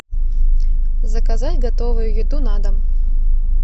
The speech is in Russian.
заказать готовую еду на дом